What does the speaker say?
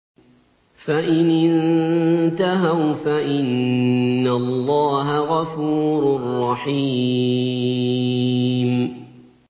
فَإِنِ انتَهَوْا فَإِنَّ اللَّهَ غَفُورٌ رَّحِيمٌ